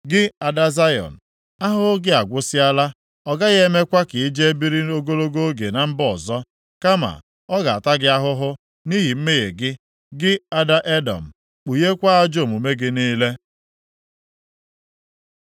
Gị ada Zayọn, ahụhụ gị agwụsịala; Ọ gaghị emekwa ka i jee biri ogologo oge na mba ọzọ. Kama, ọ ga-ata gị ahụhụ nʼihi mmehie gị, gị, ada Edọm, kpugheekwa ajọ omume gị niile.